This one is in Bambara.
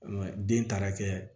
den taara kɛ